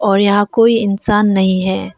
और यहां कोई इंसान नहीं है।